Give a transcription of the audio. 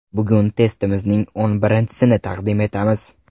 Bugun testimizning o‘n birinchisini taqdim etamiz.